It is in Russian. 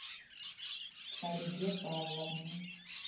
фариде павловне